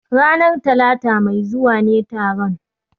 Ranar Talata mai zuwa ne taron